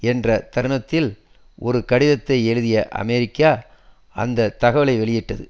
என்ற தருணத்தில் ஒரு கடிதத்தை எழுதிய அமெரிக்க அந்த தகவலை வெளியிட்டது